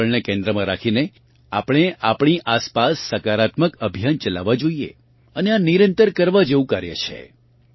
પર્યાવરણને કેન્દ્રમાં રાખીને આપણે આપણી આસપાસ સકારાત્મક અભિયાન ચલાવવાં જોઇએ અને આ નિરંતર કરવા જેવું કાર્ય છે